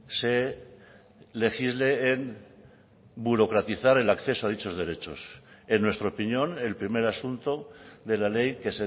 se legisle en burocratizar el acceso a dichos derechos en nuestra opinión el primer asunto de la ley que